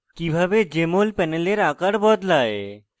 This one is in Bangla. কিভাবে: jmol panel আকার বদলায়